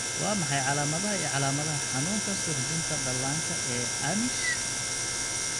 Waa maxay calamadaha iyo calaamadaha xanuunka suuxdinta dhallaanka ee Amish?